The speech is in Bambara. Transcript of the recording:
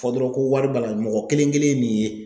Fɔ dɔrɔn ko wari b'a la mɔgɔ kelen kelen min ye